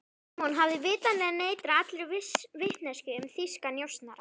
Símon hafði vitanlega neitað allri vitneskju um þýska njósnara.